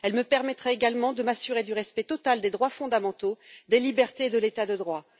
Elle me permettra également de m'assurer du respect total des droits fondamentaux, des libertés et de l'état de droit.